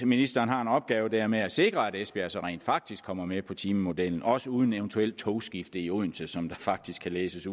ministeren har en opgave der med at sikre at esbjerg så rent faktisk kommer med på timemodellen også uden eventuelt togskifte i odense som der faktisk kan læses